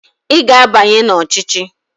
Ị ga-abanye n'ọchịchị!